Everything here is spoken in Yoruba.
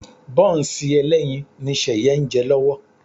Bọ́ǹsì ẹlẹ́yin ni Ṣẹ̀yẹ ń jẹ lọ́wọ́